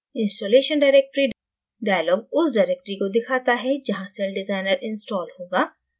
installation directory dialog उस directory को दिखाता है जहाँ celldesigner installed होगा